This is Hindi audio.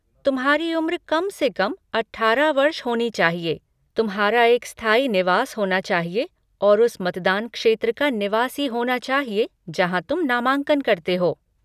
तुम्हारी उम्र कम से कम अठारह वर्ष होनी चाहिए, तुम्हारा एक स्थायी निवास होना चाहिए, और उस मतदान क्षेत्र का निवासी होना चाहिए जहाँ तुम नामांकन करते हो।